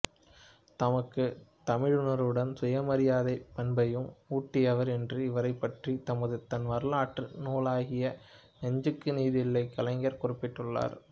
தமக்குத் தமிழுணர்வுடன் சுயமரியாதைப் பண்பையும் ஊட்டியவர் என்று இவரைப் பற்றித் தமது தன்வரலாற்று நூலாகிய நெஞ்சுக்கு நீதியில் கலைஞர் குறிப்பிட்டுள்ளார்